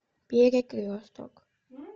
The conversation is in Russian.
перекресток